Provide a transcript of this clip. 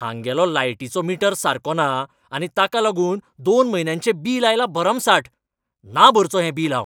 हांगेलो लायटिचो मीटर सारको ना आनी ताका लागून दोन म्हयन्यांचें बील आयलां भरमसाट. ना भरचों हें बिल हांव?